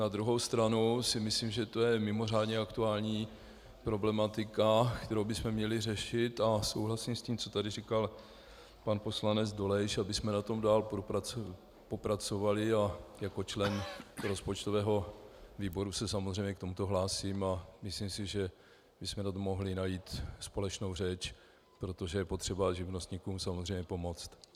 Na druhou stranu si myslím, že to je mimořádně aktuální problematika, kterou bychom měli řešit, a souhlasím s tím, co tady říkal pan poslanec Dolejš, abychom na tom dál popracovali, a jako člen rozpočtového výboru se samozřejmě k tomuto hlásím a myslím si, že bychom na tom mohli najít společnou řeč, protože je potřeba živnostníkům samozřejmě pomoct.